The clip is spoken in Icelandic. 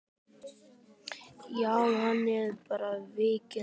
Já, að opna, víkka, reyna.